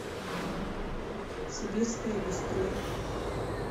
сибирское бистро